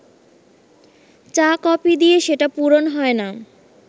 চা-কফি দিয়ে সেটা পূরণ হয় না